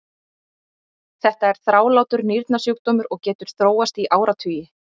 þetta er þrálátur nýrnasjúkdómur og getur þróast í áratugi